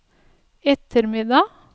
ettermiddag